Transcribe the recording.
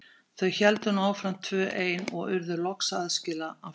Þau héldu nú áfram tvö ein og urðu loks aðskila á fjallinu.